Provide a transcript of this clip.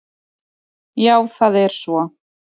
Já það er svo.